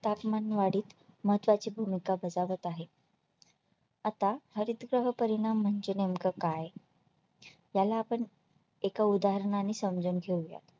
तापमानवाढीत महत्त्वाची भूमिका बजावत आहे आता हरितगृह परिणाम म्हणजे नेमकं काय याला आपण एका उदाहरणाने समजून घेऊया